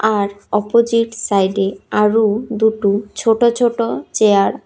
আর opposite সাইডে আরও দুটো ছোট ছোট চেয়ার --